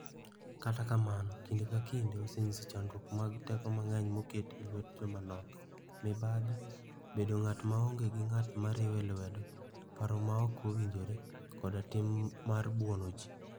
Kata kamano kinde ka kinde osenyiso chandruok mag teko mang'eny moket e lwet joma nok - mibadhi, bedo ng'at ma oonge gi ng'at ma riwe lwedo, paro ma ok owinjore, koda tim mar buono ji.